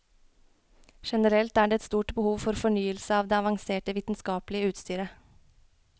Generelt er det et stort behov for fornyelse av det avanserte vitenskapelige utstyret.